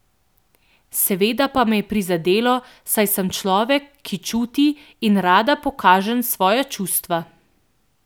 Seveda pa me je prizadelo, saj sem človek, ki čuti in rada pokažen svoja čustva.